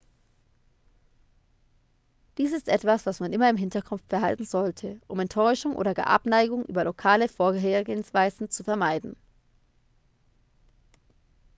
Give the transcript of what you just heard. dies ist etwas was man immer im hinterkopf behalten sollte um enttäuschung oder gar abneigung über lokale vorgehensweisen zu vermeiden